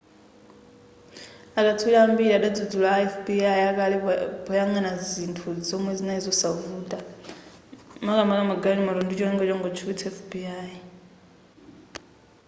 akatswiri ambiri adadzudzula a fbi akale poyangana zinthu zomwe zinali zosavuta makamaka magalimoto ndicholinga chongotchukitsa fbi